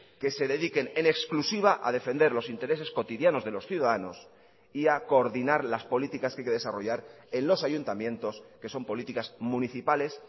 que se dediquen en exclusiva a defender los intereses cotidianos de los ciudadanos y a coordinar las políticas que hay que desarrollar en los ayuntamientos que son políticas municipales